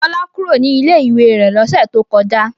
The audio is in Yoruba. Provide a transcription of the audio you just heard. Fọlá kúrò ní ilé-ìwé rẹ̀ lọ́sẹ̀ tó kọjá.